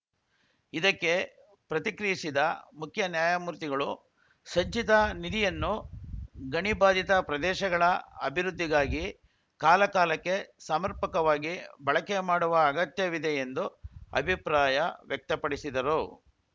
ಇದಕ್ಕೆ ಪ್ರತಿಕ್ರಿಯಿಸಿದ ಮುಖ್ಯ ನ್ಯಾಯಮೂರ್ತಿಗಳು ಸಂಚಿತ ನಿಧಿಯನ್ನು ಗಣಿಬಾದಿತ ಪ್ರದೇಶಗಳ ಅಭಿವೃದ್ಧಿಗಾಗಿ ಕಾಲಕಾಲಕ್ಕೆ ಸಮರ್ಪಕವಾಗಿ ಬಳಕೆ ಮಾಡುವ ಅಗತ್ಯವಿದೆ ಎಂದು ಅಭಿಪ್ರಾಯ ವ್ಯಕ್ತಪಡಿಸಿದರು